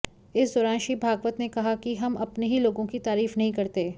इस दौरान श्री भागवत ने कहा कि हम अपने ही लोगों की तारीफ नहीं करते